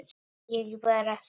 Ég bara spyr.